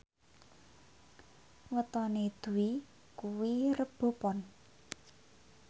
wetone Dwi kuwi Rebo Pon